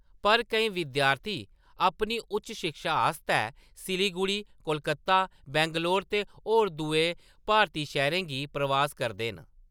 पर, केईं विद्यार्थी अपनी उच्च शिक्षा आस्तै सिलीगुड़ी, कोलकत्ता, बैंगलोर ते होर दुए भारती शैह्‌‌‌रें गी प्रवास करदे न।